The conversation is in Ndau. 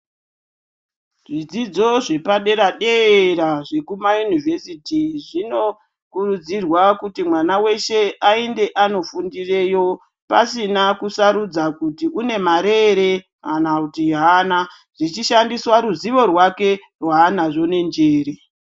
Zvidzidzo zvepadera-dera, zvekumayunivhesiti zvinokurudzirwa kuti mwana veshe aende anofundireyo pasina kusarudza kuti une mare ere kana kuti haana. Zvichishandiswa ruzivo rwake vanazvo nenjere.